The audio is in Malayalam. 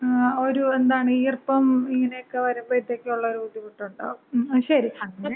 ങാ, ഒരു എന്താണ് ഈർപ്പം, ഇങ്ങനെക്ക വരുമ്പഴത്തേക്കും ഒള്ളൊരു ബുദ്ധിമുട്ടൊണ്ടാകും. ങും, ശരി.